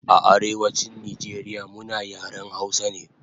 A Arewachin Nijeria muna yaren hausa ne